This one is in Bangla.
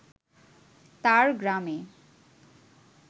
তার গ্রামে